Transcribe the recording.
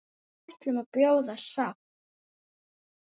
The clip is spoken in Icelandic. Við ætlum að bjóða sátt.